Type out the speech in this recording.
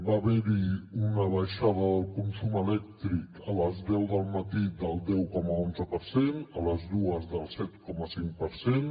va haver hi una baixada del consum elèctric a les deu del matí del deu coma onze per cent a les dues del set coma cinc per cent